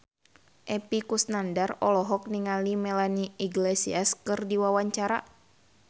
Epy Kusnandar olohok ningali Melanie Iglesias keur diwawancara